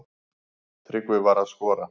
Tryggvi var að skora.